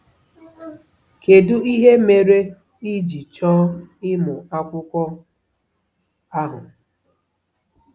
Kedu ihe mere i ji chọọ ịmụ akwụkwọ ahụ?